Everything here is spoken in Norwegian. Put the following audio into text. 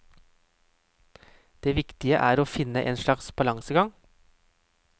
Det viktige er å finne en slags balansegang.